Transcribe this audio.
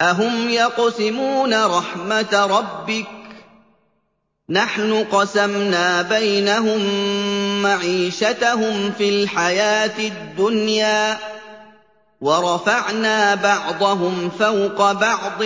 أَهُمْ يَقْسِمُونَ رَحْمَتَ رَبِّكَ ۚ نَحْنُ قَسَمْنَا بَيْنَهُم مَّعِيشَتَهُمْ فِي الْحَيَاةِ الدُّنْيَا ۚ وَرَفَعْنَا بَعْضَهُمْ فَوْقَ بَعْضٍ